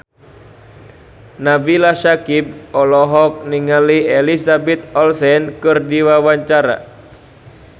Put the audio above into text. Nabila Syakieb olohok ningali Elizabeth Olsen keur diwawancara